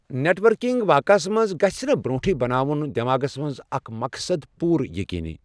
Net working واقعس منٛز گژھنہٕ برٛونٛٹھٕے بناون دٮ۪ماغس منٛز اکھ مقصد پوٗرٕ ییٚقیٖنی۔